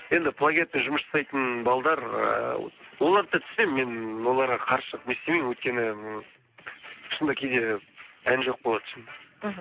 енді плагиатпен жұмыс жасайтын балалар ыыы оларды да түсінемін мен оларға қарсы шығып не істемеймін өйткені м шынында кейде ән жоқ болады шынында мхм